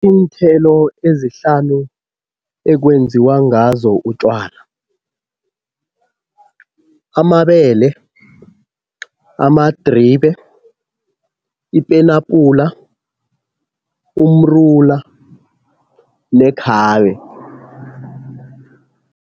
Iinthelo ezihlanu ekwenziwa ngazo utjwala, amabele, amadribe, ipenapula, umrula nekhabe.